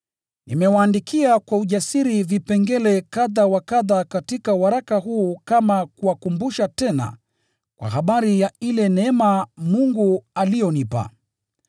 Nimewaandikia kwa ujasiri vipengele kadha wa kadha katika waraka huu kama kuwakumbusha tena kwa habari ya ile neema Mungu aliyonipa,